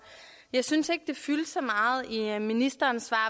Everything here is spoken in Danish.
jeg synes ikke det fyldte så meget i ministerens svar